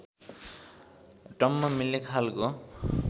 टम्म मिल्ने खालको